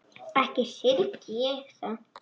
Ekki syrgi ég það.